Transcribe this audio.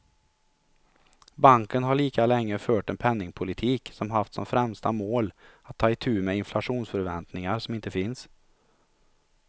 Banken har lika länge fört en penningpolitik som haft som främsta mål att ta itu med inflationsförväntningar som inte finns.